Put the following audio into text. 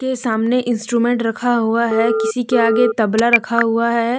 ये सामने इंस्ट्रूमेंट रखा हुआ है किसी के आगे तबला रखा हुआ है।